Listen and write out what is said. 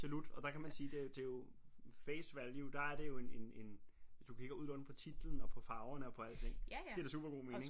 Jamen absolut og der kan sige det det jo face value der er det jo en en en hvis du kigger udelukkende på titlen og på farverne og på alting giver det super god mening